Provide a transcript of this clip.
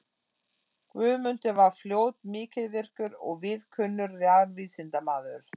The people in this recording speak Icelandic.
Guðmundur varð fljótt mikilvirkur og víðkunnur jarðvísindamaður.